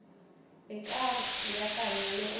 e ka beakanya le go